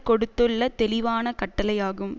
கொடுத்துள்ள தெளிவான கட்டளை ஆகும்